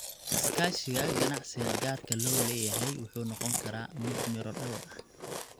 Iskaashiga ganacsiga gaarka loo leeyahay wuxuu noqon karaa mid miro dhal ah.